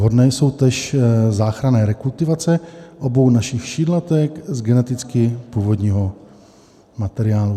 Vhodné jsou též záchranné rekultivace obou našich šídlatek z geneticky původního materiálu.